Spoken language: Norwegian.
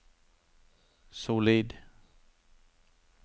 solid